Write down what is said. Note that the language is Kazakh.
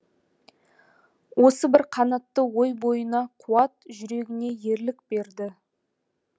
осы бір қанатты ой бойына қуат жүрегіне ерлік берді